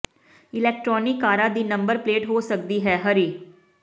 electronic ਕਾਰਾਂ ਦੀ number plate ਹੋ ਸਕਦੀ ਹੈ ਹਰੀ